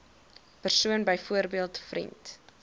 persoon byvoorbeeld vriend